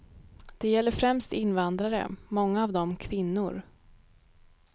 Det gäller främst invandrare, många av dem kvinnor.